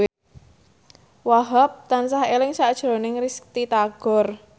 Wahhab tansah eling sakjroning Risty Tagor